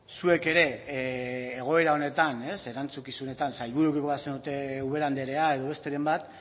zuek ere egoera honetan ez erantzukizunetan sailburu bazenute ubera andrea edo besteren bat